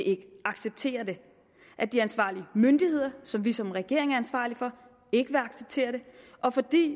acceptere det at de ansvarlige myndigheder som vi som regering er ansvarlig for ikke vil acceptere det og fordi